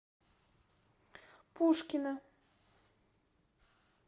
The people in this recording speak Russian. пушкино